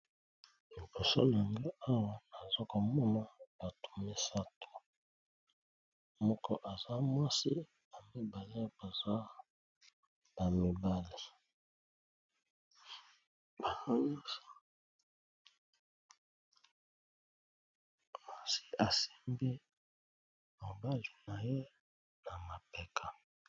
Liboso nanga awa nazo komona bato misato moko aza mwasi ba mibale baza ba mibali namoni mwasi asimbi mobali naye na mapeka.